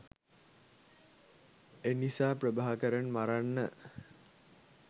එනිසා ප්‍රභාකරන් මරන්න